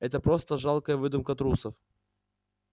это просто жалкая выдумка трусов